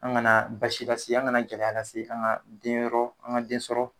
An kana basi lase, an gana jɛnɛya lase, an ga den yɔrɔ, an ka den sɔrɔ